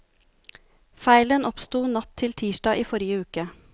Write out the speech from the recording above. Feilen oppsto natt til tirsdag i forrige uke.